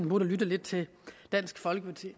burde lytte lidt til dansk folkeparti